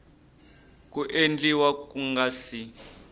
ku endliwa ku nga si